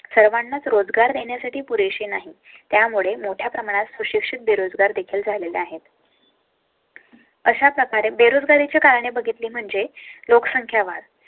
सर्वांनाच रोजगार देण्यासाठी पुरे शी नाही. त्यामुळे मोठ्या प्रमाणात सुशिक्षित बेरोजगार देखील झालेले आहेत. अशा प्रकारे बेरोजगारी ची कारणे बघितली म्हणजे लोकसंख्या वाढ